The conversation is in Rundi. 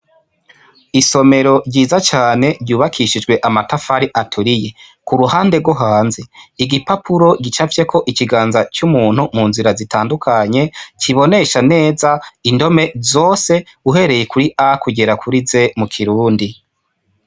Isomero ryiza cane ryubakishijwe amatafari aturiye kuruhande rwo hanze, igipapuro gicapfyeko ikiganza c'umuntu mu nzira zitandukanye kibonesha neza indome zose uhereye kuri a kugera kuri z mu kirundi.